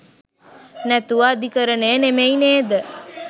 නැතුව අධිකරණය නෙමෙයි නේද?